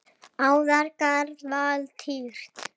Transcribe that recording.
Árangur varð lítill.